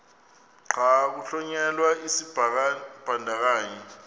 xa kuhlonyelwa isibandakanyi